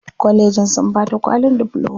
Kwallejin sun bata kwalin difloma.